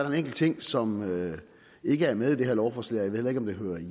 en enkelt ting som ikke er med i det her lovforslag ved heller ikke om det hører